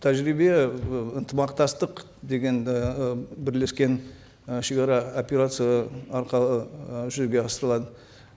тәжірибе ы ынтымақтастық дегенді і бірлескен і шегара операция арқылы ы жүзеге асырылады